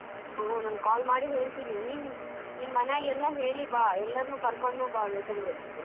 ಹು ನಾನು call ಮಾಡಿ ಹೇಳ್ತಿನಿ ನಿನ್ ನಿಮ್ ಮನೆಯಾಗ್ ಎಲ್ಲ ಹೇಳಿ ಬಾ ಎಲ್ಲ್ರನ್ನೂ ಕರ್ಕೊಂಡು ಬಾ ಬೇಕಂದ್ರೆ.